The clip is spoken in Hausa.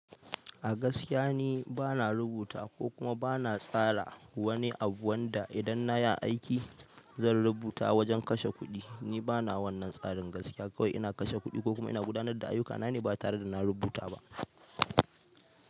A gaskiya ni bana rubuta ko kuma bana tsara wani abu wanda idan na yi aiki zan rubuta wajen kashe kuɗi. Ni bana wannan tsarin gaskiya kawai ina kashe kuɗi ko kuma ina gudanar da ayyukana ne batare da na rubuta ba.